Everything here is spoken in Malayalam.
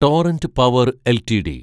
torrent Power LTD